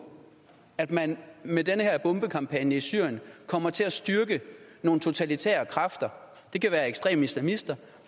at man med den her bombekampagne i syrien kommer til at styrke nogle totalitære kræfter det kan være ekstreme islamister og